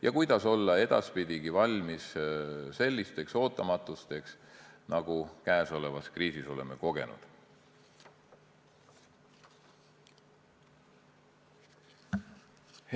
Ja kuidas olla edaspidigi valmis sellisteks ootamatusteks, nagu me käesolevas kriisis oleme kogenud?